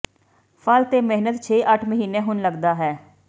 ਫਲ ਤੇ ਮਿਹਨਤ ਛੇ ਅੱਠ ਮਹੀਨੇ ਹੁਣ ਲੱਗਦਾ ਹੈ